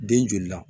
Den joli la